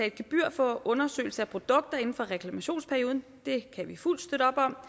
et gebyr for undersøgelse af produkter inden for reklamationsperioden det kan vi fuldt støtte op om